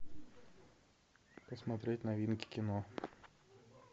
посмотреть новинки кино